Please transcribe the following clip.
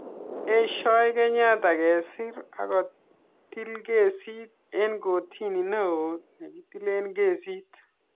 B) Eshoi kenyatta kesir akotilkesit eng kortini neo ne kitilee kesit.